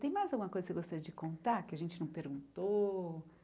Tem mais alguma coisa que você gostaria de contar, que a gente não perguntou?